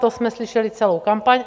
To jsme slyšeli celou kampaň.